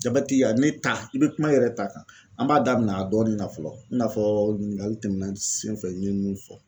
a ye ne ta i be kuma i yɛrɛ ta kan. an b'a daminɛ a dɔɔni na fɔlɔ, i n'a fɔ ɲiningali tɛmɛna sen fɛ n ɲe mun fɔ